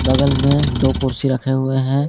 बगल में दो कुर्सी रखे हुए हैं।